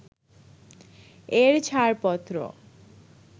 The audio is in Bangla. এর ছাড়পত্র